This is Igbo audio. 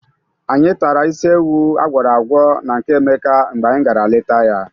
Anyị tara isi ewu a gwọrọ agwọ na nke Emeka mgbe anyị gara leta ya.